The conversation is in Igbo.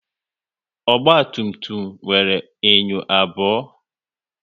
Ogba tum tum nwere enyo abụọ